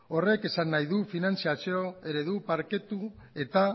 horrek esan nahi du finantziazio eredu parketu eta